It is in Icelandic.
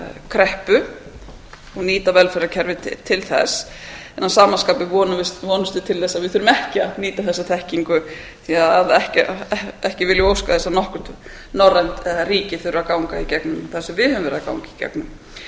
kreppu og átt velferðarkerfið til þess að sama skapi vonumst við til þess að við þurfum ekki að nýta þessa þekkingu því ekki viljum við óska þess að nokkurt norrænt ríki þurfi að ganga í gegnum það sem við höfum verið að ganga í